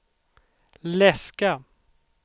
läska